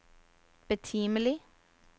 betimelig